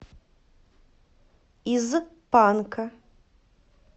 из панка